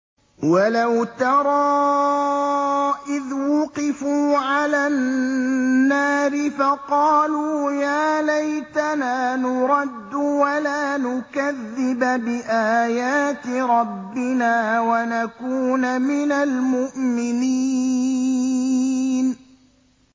وَلَوْ تَرَىٰ إِذْ وُقِفُوا عَلَى النَّارِ فَقَالُوا يَا لَيْتَنَا نُرَدُّ وَلَا نُكَذِّبَ بِآيَاتِ رَبِّنَا وَنَكُونَ مِنَ الْمُؤْمِنِينَ